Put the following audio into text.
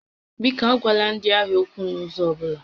Biko, agwala ndị ahịa okwu n'ụzọ ọ bụla!